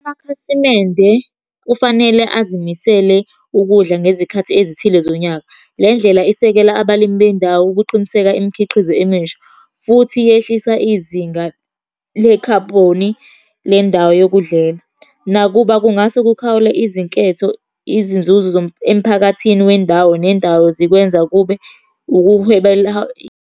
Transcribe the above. Amakhasimende kufanele azimisele ukudla ngezikhathi ezithile zonyaka. Le ndlela esekela abalimi bendawo ukuqiniseka imikhiqizo emisha, futhi yehlisa izinga lekhabhoni lendawo yokudlela. Nakuba kungase kukhawule izinketho, izinzuzo emphakathini wendawo nendawo zikwenza kube .